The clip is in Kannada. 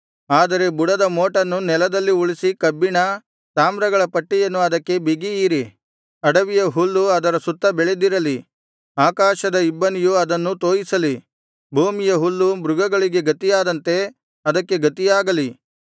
ಆದರೆ ಬುಡದ ಮೋಟನ್ನು ನೆಲದಲ್ಲಿ ಉಳಿಸಿ ಕಬ್ಬಿಣ ತಾಮ್ರಗಳ ಪಟ್ಟಿಯನ್ನು ಅದಕ್ಕೆ ಬಿಗಿಯಿರಿ ಅಡವಿಯ ಹುಲ್ಲು ಅದರ ಸುತ್ತ ಬೆಳೆದಿರಲಿ ಆಕಾಶದ ಇಬ್ಬನಿಯು ಅದನ್ನು ತೋಯಿಸಲಿ ಭೂಮಿಯ ಹುಲ್ಲು ಮೃಗಗಳಿಗೆ ಗತಿಯಾದಂತೆ ಅದಕ್ಕೆ ಗತಿಯಾಗಲಿ